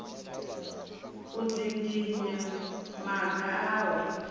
u dzinginya maga a u